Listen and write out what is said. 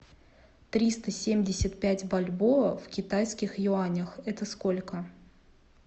триста семьдесят пять бальбоа в китайских юанях это сколько